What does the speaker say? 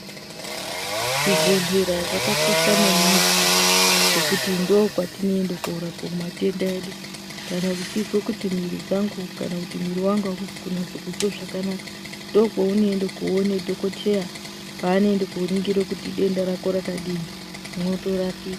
Zvibhodhlera zvakakosha maningi ngekuti ndokwatoenda korapiwe matenda edu kana uchizwe kuti muiiri dzangu kana kuti muiri wangu ausi kunase kuzwe zvakanaka ndokwounoende koone dhokoteya paanoende koone kuti denda rako rakadini mwotorapiwa.